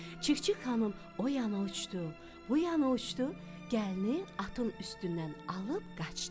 Çik-çik xanım o yana uçdu, bu yana uçdu, gəlini atın üstündən alıb qaçdı.